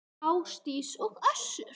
Ásdís og Össur.